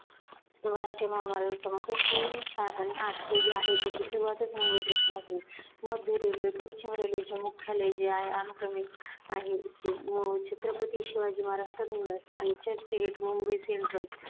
राष्ट्रीय महामार्ग क्रमांक तीन, चार आणि आठ हे जे आहेत त्याची सुरुवातच मुंबईपासून होते. मध्य railway, पश्चिम railway चे मुख्यालय जे आहे अनुक्रमेत आहे इथे मग छत्रपती शिवाजी महाराज terminus आणि चर्चगेट मुंबई central